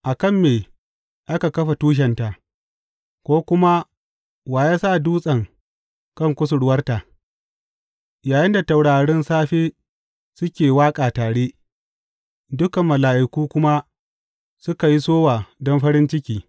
A kan me aka kafa tushenta, ko kuma wa ya sa dutsen kan kusurwarta, yayinda taurarin safe suke waƙa tare dukan mala’iku kuma suka yi sowa don farin ciki.